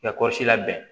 I ka kɔɔri labɛn